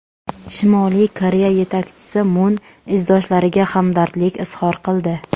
Shimoliy Koreya yetakchisi Mun izdoshlariga hamdardlik izhor qildi.